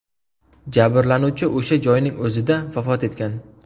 Jabrlanuvchi o‘sha joyning o‘zida vafot etgan.